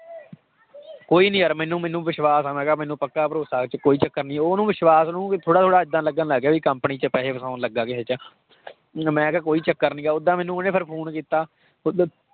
ਕੋਈ ਨੀ ਯਾਰ ਮੈਨੂੰ ਮੈਨੂੰ ਵਿਸ਼ਵਾਸ ਆ ਮੈਂ ਕਿਹਾ ਮੈਨੂੰ ਪੱਕਾ ਭਰੋਸ਼ਾ ਕਿ ਕੋਈ ਚੱਕਰ ਨੀ ਉਹਨੂੰ ਵਿਸ਼ਵਾਸ ਥੋੜ੍ਹਾ ਥੋੜ੍ਹਾ ਏਦਾਂ ਲੱਗਣ ਲੱਗ ਗਿਆ ਵੀ company 'ਚ ਪੈਸੇ ਫਸਾਉਣ ਲੱਗਾ ਕਿਸੇ 'ਚ ਮੈਂ ਕਿਹਾ ਕੋਈ ਚੱਕਰ ਨੀਗਾ ਓਦਾਂ ਮੈਨੂੰ ਉਹਨੇ ਫਿਰ phone ਕੀਤਾ